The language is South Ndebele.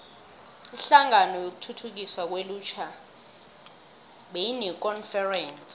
inhlangano yokuthuthukiswa kwelutjha beyinekonferense